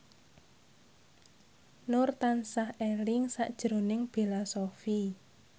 Nur tansah eling sakjroning Bella Shofie